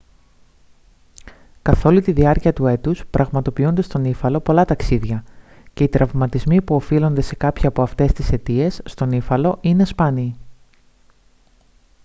καθόλη τη διάρκεια του έτους πραγματοποιούνται στον ύφαλο πολλά ταξίδια και οι τραυματισμοί που οφείλονται σε κάποια από αυτές τις αιτίες στον ύφαλο είναι σπάνιοι